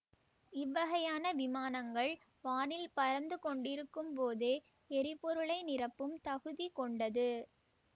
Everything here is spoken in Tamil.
இவ்வகையான விமானங்கள் வானில் பறந்து கொண்டிருக்கும்போதே எரிபொருளை நிரப்பும் தகுதி கொண்டது